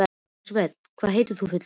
Elsabet, hvað heitir þú fullu nafni?